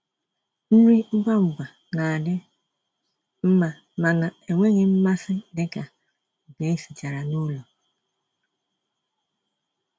nrí ngwá ngwá ná-àdị́ mmá mànà ènwéghị́ mmàsí dika nkè èsìchàrà n'ụ́lọ̀.